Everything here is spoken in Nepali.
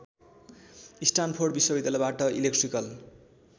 स्टानफोर्ड विश्वविद्यालयबाट इलेक्ट्रिकल